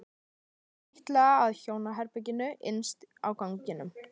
Hún trítlaði að hjónaherberginu innst á ganginum.